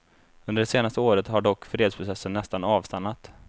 Under det senaste året har dock fredsprocessen nästan avstannat.